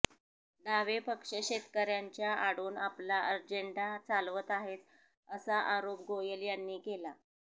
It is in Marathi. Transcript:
डावे पक्ष शेतकर्यांच्या आडून आपला अजेंडा चालवत आहेत असा आरोप गोयल यांनी केला